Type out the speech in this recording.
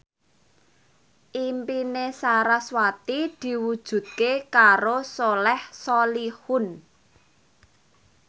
impine sarasvati diwujudke karo Soleh Solihun